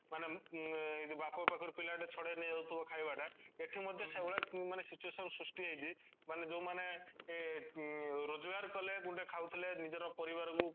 ମାନେ ମୁଁ ଉଁ ଏ ଯୋଉ ବାପ ପାଖରେ ପିଲା ଠୁ ଛଡେଇନେଇଯାଉଥିବ ଖାଇବା ଟା ସେଠୁ ମଧ୍ୟ ସେଈଭାଲିଆ situation ସୃଷ୍ଟି ହେଇଛି ମାନେ ଯୋଉ ମାନେ ଅଂ ରୋଜଗାର କଲେ ଗୁଣ୍ଡେ ଖାଉଥିଲେ ନିଜର ପରିବାର କୁ